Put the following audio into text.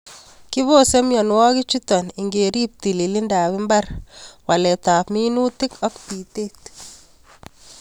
Kibose mionwokichuton ingerib tililindab mbar, waletab minutik ak bitet.